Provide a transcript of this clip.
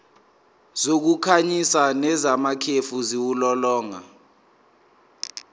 zokukhanyisa nezamakhefu ziwulolonga